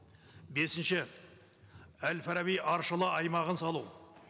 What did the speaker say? бесінші әл фараби аршала аймағын салу